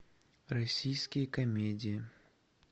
российские комедии